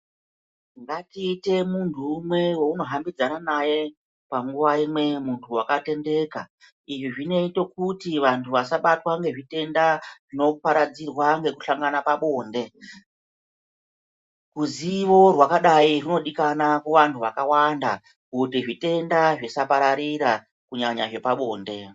Ngatiite munhu umwe weunohambidzana naye panguwa imwe munhu wakatendeka izvi zvinoite kuti vanhu asabatwa ngezvitenda zvinoparadzirwa ngekuhlangana pabonde ruzivo rwakadai runodikana kuvanhu vakawanda kuti zvitenda zvisapararira kunyanya zvepabonde.